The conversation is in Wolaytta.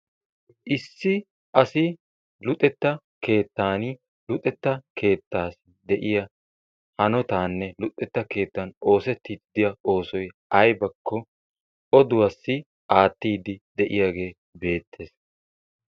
Issi asi luxetta keettan luxetta keettaassi de'iya hanotaanne luxetta keettan oosettiiddi diya oosoy aybakko oduwassi aattiiddi de'iyagee beettees.